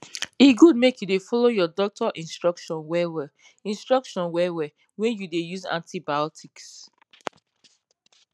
e good make you follow your doctor instruction well well instruction well well when you dey use antibiotics